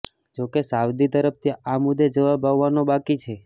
જોકે સાઉદી તરફથી આ મુદ્દે જવાબ આવવાનો બાકી છે